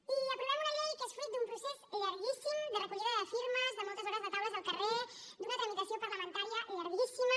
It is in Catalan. i aprovem una llei que és fruit d’un procés llarguíssim de recollida de firmes de moltes hores de taules al carrer d’una tramitació parlamentària llarguíssima